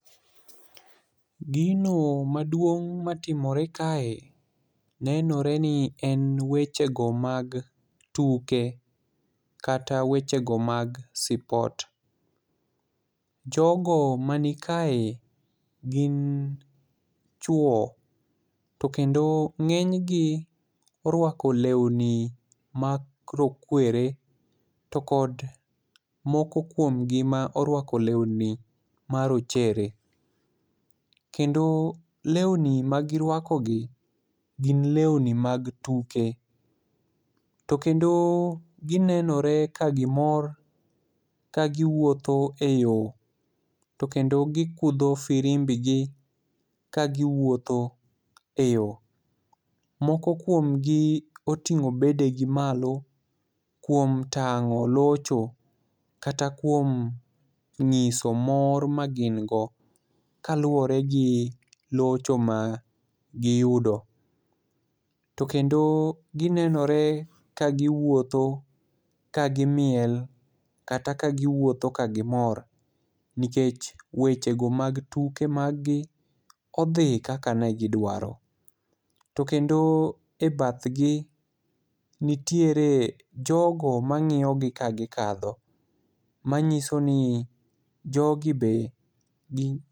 Gino maduong' matimore kae, nenore ni en wechego mag tuke, kata wechego mag sport. Jogo manikae gin chuwo ,to kendo ng'enygi orwako lewni mag rokwere to kod moko kuomgi ma orwako lewni marochere, kendo lewni magirwakogi gin lewni mag tuke, to kendo ginenore ka gimor ka giwuotho e yo, to kendo gikudho firimbigi ka giwuotho e yo. Moko kuomgi oting'o bedegi malo kuom tang'o locho kata kuom ng'iso mor ma gin go kaluwore gi locho magiyudo. To kendo ginenore ka giwuotho ka gimiel kata ka giwuotho ka gimor nikech wechego mag tuke maggi odhi kaka ne gidwaro, to kendo e bathgi, nitiere jogo mang'iyogi ka gikadho, manyiso ni jogi be